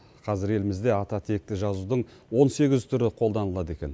қазір елімізде ататекті жазудың он сегіз түрі қолдалынады екен